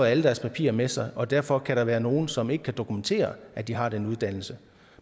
alle deres papirer med sig og derfor kan der være nogle som ikke kan dokumentere at de har den uddannelse